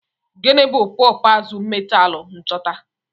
Gịnị bụ popoozu metaalu nchọta?